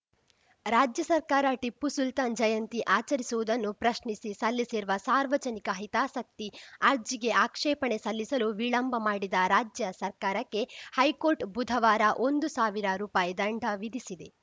ರಾಜ್ಯ ಸರ್ಕಾರ ಟಿಪ್ಪು ಸುಲ್ತಾನ್‌ ಜಯಂತಿ ಆಚರಿಸುವುದನ್ನು ಪ್ರಶ್ನಿಸಿ ಸಲ್ಲಿಸಿರುವ ಸಾರ್ವಜನಿಕ ಹಿತಾಸಕ್ತಿ ಅರ್ಜಿಗೆ ಆಕ್ಷೇಪಣೆ ಸಲ್ಲಿಸಲು ವಿಳಂಬ ಮಾಡಿದ ರಾಜ್ಯ ಸರ್ಕಾರಕ್ಕೆ ಹೈಕೋರ್ಟ್‌ ಬುಧವಾರ ಒಂದು ಸಾವಿರ ರುಪಾಯ್ ದಂಡ ವಿಧಿಸಿದೆ